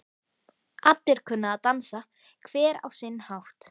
Allir kunna að dansa, hver á sinn hátt.